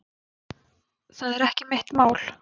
Það er ekki mitt mál.